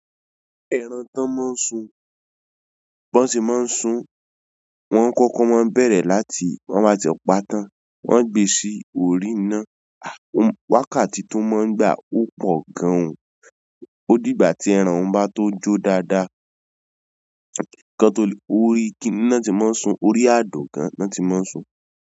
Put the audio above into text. Ẹran tán mọ́ ń sùn. Bọ́ sì mọ́ ń sùn, wọ́n kọ́kọ́ mọ bẹ̀rẹ̀ láti wọ́n baa ti paa tán. Wọ́n gbe sí orí ina. Wákàtí tó máa ń gbà ó po gan òun. Ó dìgbà tí ẹran un bá tó jo dáadáa. Kan tó lè orí kiní náà ti mọ́ ń sùn, orí àdògán náà ti mọ́ ń sùn.